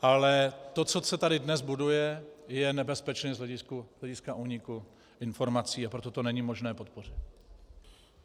Ale to, co se tady dnes buduje, je nebezpečné z hlediska úniku informací, a proto to není možné podpořit.